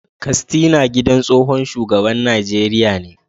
Kastina gidan tsohon shugaban Najeriya ne